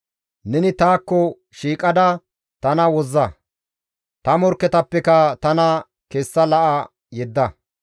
Neni taakko shiiqada tana wozza; ta morkketappekka tana kessa la7a yedda.